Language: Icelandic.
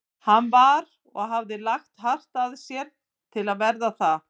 Hann var- og hafði lagt hart að sér til að verða það